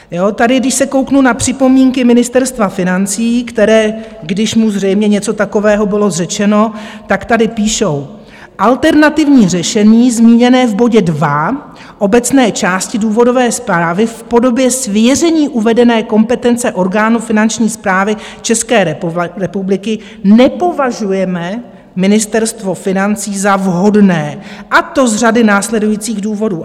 Tady když se kouknu na připomínky Ministerstva financí, které, když mu zřejmě něco takového bylo řečeno, tak tady píšou: "Alternativní řešení zmíněné v bodě 2 obecné části důvodové zprávy v podobě svěření uvedené kompetence orgánu Finanční správy České republiky nepovažujeme" - Ministerstvo financí - "za vhodné, a to z řady následujících důvodů."